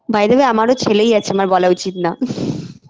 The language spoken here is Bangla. by the way আমারও ছেলেই আছে আমার বলা উচিত না